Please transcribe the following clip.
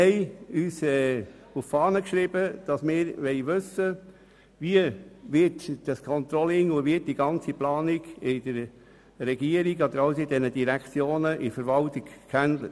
Wir haben uns auf die Fahne geschrieben, dass wir wissen möchten, wie dieses Controlling und die ganze Planung in diesen Direktionen angegangen wurde.